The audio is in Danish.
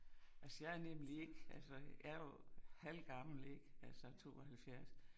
Altså jeg er nemlig ikke altså jeg jo halvgammel ik altså 72